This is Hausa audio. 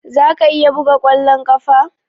Za ka iya buga kwallon kafa?